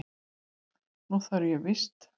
Nú þarf ég víst.